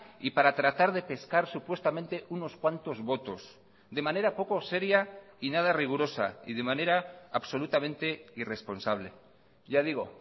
y para tratar de pescar supuestamente unos cuantos votos de manera poco seria y nada rigurosa y de manera absolutamente irresponsable ya digo